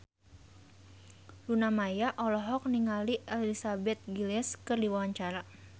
Luna Maya olohok ningali Elizabeth Gillies keur diwawancara